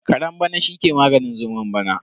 Karen bana shi ke maganin zomon bana.